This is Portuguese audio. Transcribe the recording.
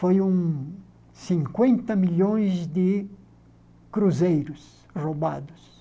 Foram cinquenta milhões de cruzeiros roubados.